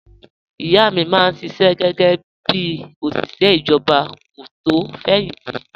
Ìyá mi máa ń ṣiṣẹ́ gẹ́gẹ́ bí òṣìṣẹ́ ìjọba kó tó fẹ̀yìn tì